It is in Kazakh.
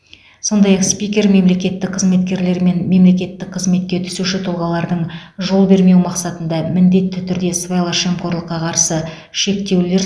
сондай ақ спикер мемлекеттік қызметкерлер мен мемлекеттік қызметке түсуші тұлғалардың жол бермеу мақсатында міндетті түрде сыбайлас жемқорлыққа қарсы шектеулер